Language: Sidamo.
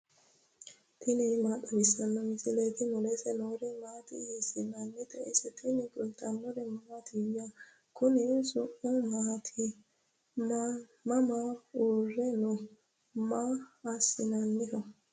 tini maa xawissanno misileeti ? mulese noori maati ? hiissinannite ise ? tini kultannori mattiya? konni su'mi maatti? Mama uure noo? Maa assinnanniho?